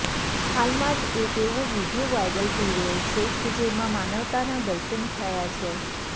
હાલમાં જ એક એવો વીડિયો વાયરલ થઈ રહ્યો છે કે જેમાં માનવતાના દર્શન થયા છે